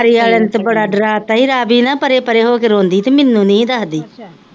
ਸਰਕਾਰੀ ਆਲਿਆ ਤਾਂ ਬੜਾ ਡਰਾਤਾ ਹੀ ਰਾਵੀ ਨਾਂ ਪਰੇ ਪਰੇ ਹੋਕੇ ਰੋਂਦੀ ਹੀ ਤੇ ਮੀਨੂੰ ਨੀ ਹੀ ਦੱਸਦੀ,